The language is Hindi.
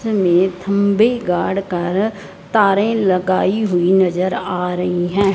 हमें थंबी गाड़ कारा तारे लगायी हुई नजर आ रहीं हैं।